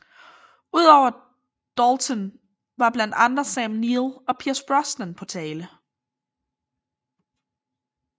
Udover Dalton var blandt andre Sam Neill og Pierce Brosnan på tale